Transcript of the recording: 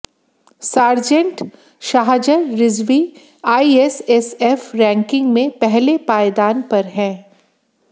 sergeant Shahzar Rizvi ISSF ranking में पहले पायदान पर हैं